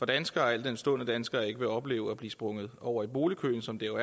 danskere al den stund at danskere ikke vil opleve at blive sprunget over i boligkøen som det jo